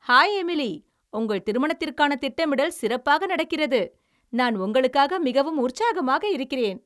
Hi Emily, உங்கள் திருமணத்திற்கான திட்டமிடல் சிறப்பாக நடக்கிறது, நான் உங்களுக்காக மிகவும் உற்சாகமாக இருக்கிறேன்.